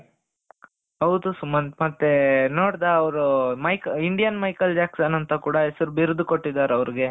ಹೌದು ಸುಮಂತ್ ಮತ್ತೆ ನೋಡ್ದಾ ಅವರು ಇಂಡಿಯನ್ ಮೈಕಲ್ ಜಾಕ್ಸನ್ ಅಂತ ಕೂಡ ಹೆಸರು ಬಿರುದು ಕೊಟ್ಟಿದ್ದಾರೆ ಅವರಿಗೇ.